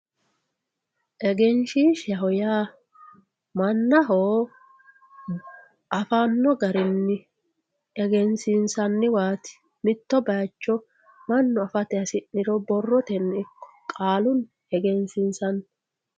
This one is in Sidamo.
egenshiishaho yaa mannaho afanno garinni egensiinsanniwaati mitto bayiicho mannu afate hasi'niro borrotenni ikko qaalunni egensiinsanni.